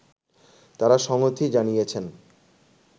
তারা সংহতি জানিয়েছেন